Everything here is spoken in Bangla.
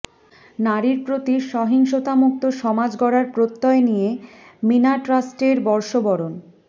নারীর প্রতি সহিংসতামুক্ত সমাজ গড়ার প্রত্যয় নিয়ে মীনা ট্রাস্টের বর্ষবরণ